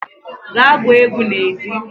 gaa gwuo egwu n'ezi